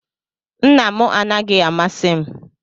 Nna m anaghị amasị m